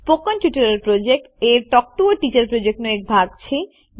spoken tutorial project a talk to a teacher પ્રોજેક્ટનો એક ભાગ છે